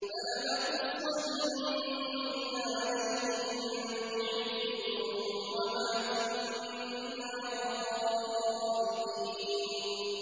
فَلَنَقُصَّنَّ عَلَيْهِم بِعِلْمٍ ۖ وَمَا كُنَّا غَائِبِينَ